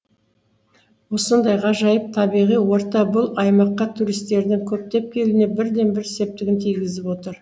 осындай ғажайып табиғи орта бұл аймаққа туристердің көптеп келуіне бірден бір септігін тигізіп отыр